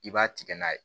I b'a tigɛ n'a ye